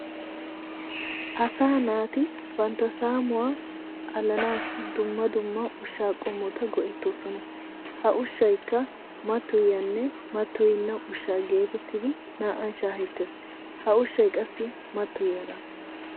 Asaa naati bantta saamuwa alanaassi dumma dumma ushshaa qommotta go'ettoosona. Ha ushshaykka mattoyyiyaanne mattoyenna ushshaa geetettidi naa"an shaahettes. Ha ushshay qassi mattoyiyagaa.